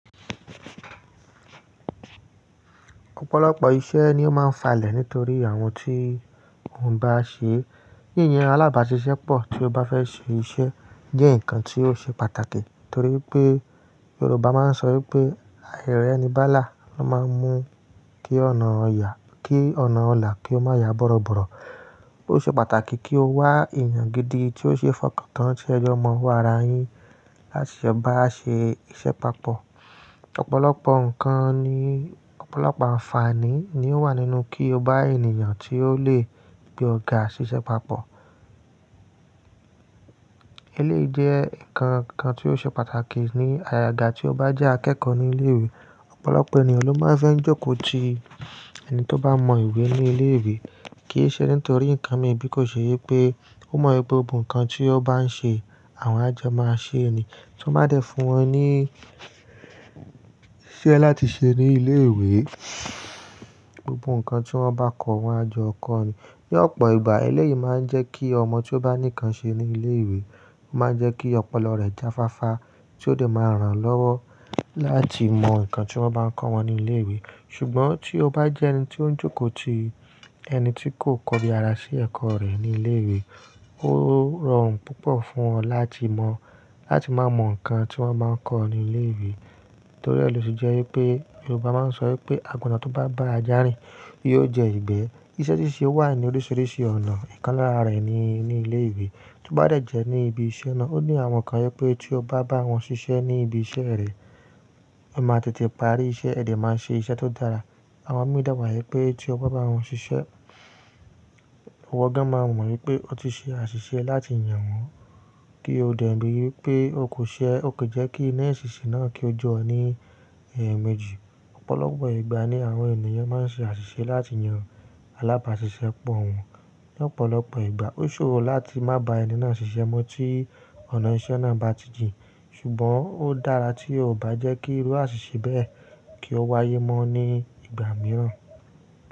Ọ̀pọ̀lọpọ̀ iṣẹ́ ni ó máa ń falẹ̀ nítorí àwọn tí wọ́n bá ṣe. Yíyàn alábàáṣiṣẹ́pọ̀ tí o bá fẹ́ ṣe iṣẹ́ jẹ́ nǹkan tí ó ṣe pàtàkì torí pé Yorùbá máa ń sọ pé "Aìrẹ́ ni bá là ń máa ń mú kí ọ̀nà kí ọ̀nà ọlá kí ó má ya bọ́rọ̀bọ̀rọ̀. Ó ṣeé pàtàkì kí o wá èèyàn gidi tí ó ṣe fọkàntán tí ẹjọ́ mọ́ wá ara yín láti ṣe bá ṣe iṣẹ́ papọ̀. Ọ̀pọ̀lọpọ̀ nǹkan ni, ọ̀pọ̀lọpọ̀ àǹfààní ni ó wà nínú kí o bá èèyàn tí ó lè gbé ọ̀ ga ṣiṣẹ́ papọ̀. Eléyìí jẹ́ nǹkan kan tí ó ṣe pàtàkì ní àyàgbá tí o bá jẹ́ akẹ́kọ̀ọ́ ní ilé ìwé. Ọ̀pọ̀lọpọ̀ ènìyàn ló máa ń fẹ́ jókòó ti ẹni tí ó bá mọ̀ ìwé ní ilé ìwé kì í ṣe nítorí nǹkan míì bíi kó ṣe wípé ó mọ̀ pé gbogbo nǹkan tí ó bá ń ṣe àwọn ajọ máa ṣe ni. Tí wọ́n bá dẹ̀ fún wọn ní iṣẹ́ láti ṣe ní ilé-ìwé, gbogbo nǹkan tí wọ́n bá kọ wọn ajọ kọ́ ni. Ní ọ̀pọ̀ ìgbà eléyìí máa ń jẹ́ kí ọmọ tí ó bá ní nǹkan ṣe ní ilé-ìwé, ó máa ń jẹ́ kí ọpọlọ rẹ̀ jáfáfá tí ó sì máa ń ràn án lọ́wọ́ láti mọ nǹkan tí wọ́n bá ń kọ́ wọn ní ilé ìwé. Ṣùgbọ́n tí o bá jẹ́ ẹni tí ó ń jókòó tì ẹni tí kò kọbi ara sí ẹ̀kọ́ rẹ̀ ní ilé ìwé, ó rọrùn púpọ̀ fún ọ láti mọ, láti máa mọ nǹkan tí wọ́n máa ń kọ́ ní ilé ìwé. Torí ẹ̀ ló ṣe jẹ́ wí pé Yorùbá máa ń sọ wípé "Àgùntàn tó bá bá ajá rìn yóò jẹ ìgbẹ́." Iṣẹ́ ṣíṣe wà ní oríṣìíríṣìí ọ̀nà, ìkan lára rẹ̀ ni ní ilé-ìwé. Tí ó bá dẹ̀ jẹ́ ní ibi iṣẹ́ náà ó ní àwọn kan wí pé tí o bá bá wọn ṣiṣẹ́ ní ibi iṣẹ́ rẹ, ẹ máa tètè parí iṣẹ́ ẹ dẹ̀ máa ṣe iṣẹ́ tó dára. Àwọn mi de wi pé tí o bá bá wọn ṣiṣẹ́, ìwọ́ gan máa mọ̀ wí pé o ti ṣe àṣìṣe láti yàn wọ́n kí o dẹ̀ rí i wí pé o kò ṣe, o kò jẹ́ kí iná èṣìṣì náà kí ó jọ́ ẹ ní ẹ̀ẹ̀mejì. Ọ̀pọ̀lọpọ̀ ìgbà ni àwọn ènìyàn máa ń ṣe àṣìṣe láti yan alábàáṣiṣẹpọ̀ wọn. Lọ́pọ̀lọpọ̀ ìgbà ó ṣòro láti má bá ẹni náà ṣiṣẹ́ mọ́ tí ọ̀nà ìṣe náà bá ti jìn. Ṣùgbọ́n ó dára tí ó bá jẹ́ kí irú àṣìṣe bẹ́ẹ̀ kí ó wáyé mọ́ ní ìgbà mìíràn.